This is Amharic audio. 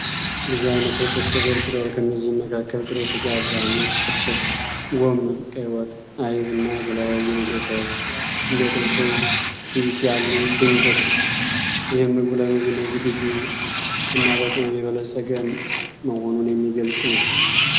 ብዙ ዓይነት ወጦች ተደርድረዋል፤ ከነዚህም መካከል ጥሬ ሥጋ (አብዛኛው ክትፎ)፣ ጎመን፣ ቀይ ወጥ፣ አይብ፣ እና የተለያዩ መጥበሻዎች (እንደ ጥብስ ወይም ቲቢስ ያሉ) ይገኙበታል። ይህም ምግቡ ለምግብነት ዝግጁ እና በቅመም የበለጸገ መሆኑን የሚገልጽ ነው።